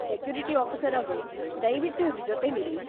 Security ಆಫೀಸರ್‌ಅವ್ರೇ, ದಯ್ವಿಟ್ಟು ಇವ್ರ್ ಜೊತೆಲಿರಿ.